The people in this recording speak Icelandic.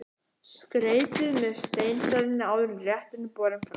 Skreytið með steinseljunni áður en rétturinn er borinn fram.